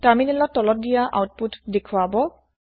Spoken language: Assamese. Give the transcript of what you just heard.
তাৰমিনেলত তলত দিয়া আওতপোত দেখোৱাব